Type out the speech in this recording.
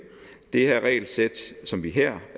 det regelsæt som vi her